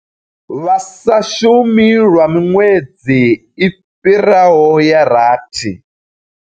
Vha sa shumi lwa miṅwedzi i fhiraho ya rathi.